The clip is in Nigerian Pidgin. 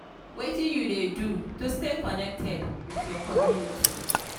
wetin you dey do to stay connected with your community?